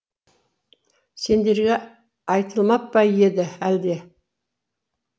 сендерге айтылмап па еді әлде